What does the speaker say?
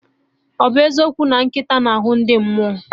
Ọ bụ eziokwu na nkịta na-ahụ ndị mmụọ